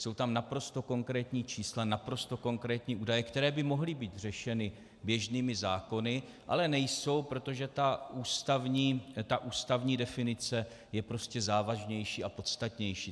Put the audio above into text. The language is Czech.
Jsou tam naprosto konkrétní čísla, naprosto konkrétní údaje, které by mohly být řešeny běžnými zákony, ale nejsou, protože ta ústavní definice je prostě závažnější a podstatnější.